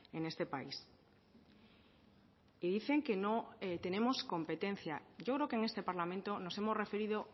en este país y dicen que no tenemos competencia yo creo que en este parlamento nos hemos referido